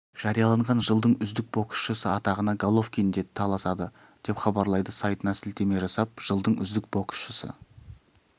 жариялаған жылдың үздік боксшысы атағына головкин де таласады деп хабарлайды сайтына сілтеме жасап жылдың үздік боксшысы